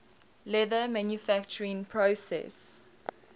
leather manufacturing process